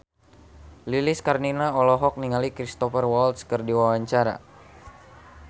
Lilis Karlina olohok ningali Cristhoper Waltz keur diwawancara